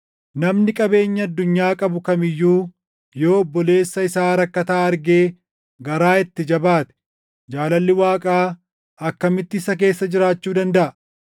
Namni qabeenya addunyaa qabu kam iyyuu yoo obboleessa isaa rakkataa argee garaa itti jabaate jaalalli Waaqaa akkamitti isa keessa jiraachuu dandaʼa?